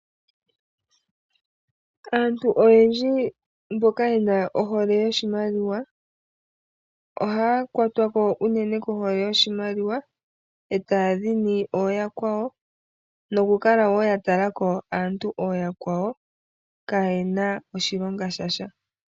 Aantu oyendji mboka yena ohole yoshimaliwa ohaya kwata kohole yoshimaliwa etaya dhini yakwawo nokukala yeya tala yafa kaayena oshilonga shasha.